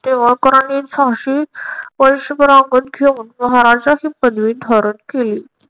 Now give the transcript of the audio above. निंबाळकरांनी झाशी वर्षभर सांगून घेऊन महाराजाची पदवी धारण केली.